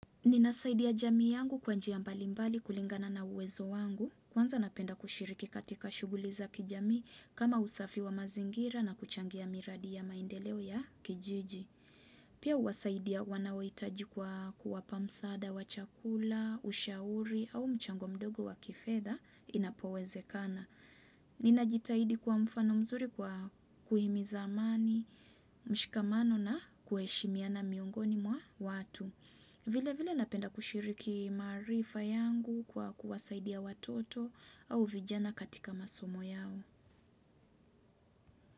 Ninasaidia jamii yangu kwa njia mbalimbali kulingana na uwezo wangu, kwanza napenda kushiriki katika shughuli za kijamii kama usafi wa mazingira na kuchangia miradi ya maendeleo ya kijiji. Pia huwasaidia wanaohitaji kwa kuwapa msaada, wa chakula, ushauri au mchango mdogo wa kifedha inapowezekana. Nina jitahidi kwa mfano mzuri kwa kuhimiza amani, mshikamano na kuheshimiana miongoni mwa watu. Vilevile napenda kushiriki maarifa yangu kwa kuwasaidia watoto au vijana katika masomo yao.